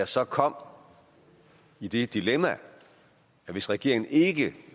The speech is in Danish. så kom i det dilemma at hvis regeringen ikke